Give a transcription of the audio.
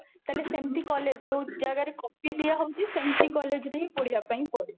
ତାହେଲେ ସେମତି college ଯେଉଁ ଜାଗାରେ copy ଦିଆ ହଉଛି ସେମତି college ରେ ହିଁ ପଢିବା ପାଇଁ କହିବି